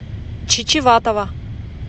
чечеватова